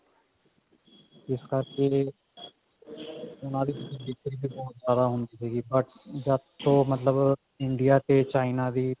ਇਸ ਰਕੇ ਉਹਨਾ ਵਿੱਚ ਦਿੱਕਤ ਵੀ ਬਹੁਤ ਜਿਆਦਾ ਆਉਂਦੀ ਸੀ but ਜਦ ਤੋਂ ਮਤਲਬ India ਤੇ china ਦੀ